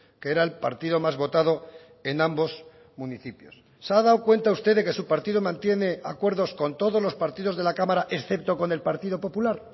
que era el partido más votado en ambos municipios se ha dado cuenta usted de que su partido mantiene acuerdos con todos los partidos de la cámara excepto con el partido popular